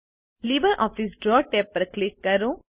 LibreOffice draw tab પર click કરો